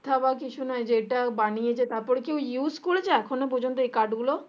কিছু নাই যে এটা বানিয়েছে তারপরে কেউ use করেছে এখনো পর্যন্ত এই card গুলো